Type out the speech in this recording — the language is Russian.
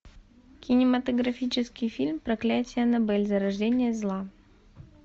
кинематографический фильм проклятие аннабель зарождение зла